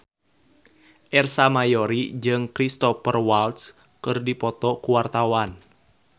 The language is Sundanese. Ersa Mayori jeung Cristhoper Waltz keur dipoto ku wartawan